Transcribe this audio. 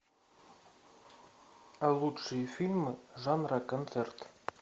лучшие фильмы жанра концерт